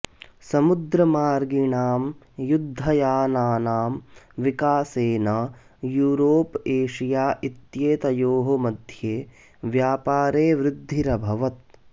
समुद्रमार्गिणां युद्धयानानां विकासेन Europe Asia इत्येतयोः मध्ये व्यापारे वृद्धिरभवत्